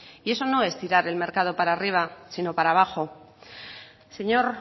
y eso no es tirar el mercado para arriba sino para abajo señor